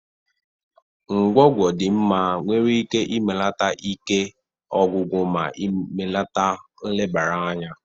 Ngwongwo dị mma nwere ike ibelata ike ọgwụgwụ ma melite nlebara anya.